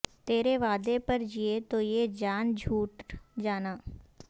تیرے وعدے پر جیے تو یہ جان جھوٹ جانا